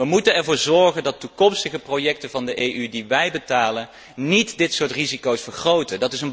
We moeten ervoor zorgen dat toekomstige projecten van de EU die wij betalen, niet dit soort risico's vergroten.